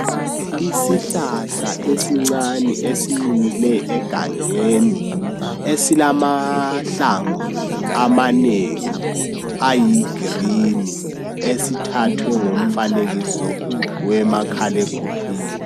Isihlahla esincane esimile egangeni esilamahlamvu amanengi ayi green esithathwe ngomfanekiso wemakhalekhukhwini